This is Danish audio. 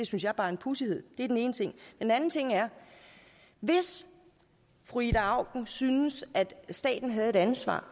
synes jeg bare en pudsighed det er den ene ting en anden ting er at hvis fru ida auken syntes at staten havde et ansvar